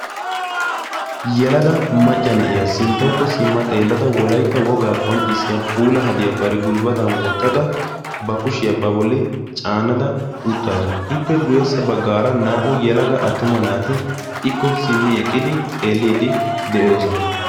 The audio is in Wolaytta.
yalaga macca na'iyaa sinttaakko simma xeellada wolaytta wogaa qonccissiya puula hadiyaa bari gulbbatan wottada ba kushiyaa ba bolli caannada uttaasu ippe guyessa baggaara naa''u yalaga attuma naati ikko simmi eqqidi xeelliiddi de'oosona